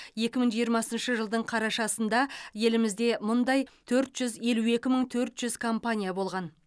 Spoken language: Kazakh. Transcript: екі мың жиырмасыншы жылдың қарашасында елімізде мұндай төрт жүз елу екі мың төрт жүз компания болған